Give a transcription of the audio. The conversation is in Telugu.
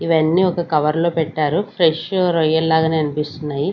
ఇవన్నీ ఒక కవర్ లో పెట్టారు ఫ్రెష్ రొయ్యల్ లాగానే అనిపిస్తున్నాయి.